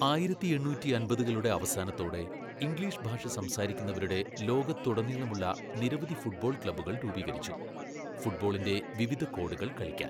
ആയിരത്തി എണ്ണൂറ്റിയമ്പതുകളുടെ അവസാനത്തോടെ, ഇംഗ്ലീഷ് ഭാഷ സംസാരിക്കുന്നവരുടെ ലോകത്തുടനീളമുള്ള നിരവധി ഫുട്ബോൾ ക്ലബ്ബുകൾ രൂപീകരിച്ചു, ഫുട്ബോളിന്റെ വിവിധ കോഡുകൾ കളിക്കാൻ.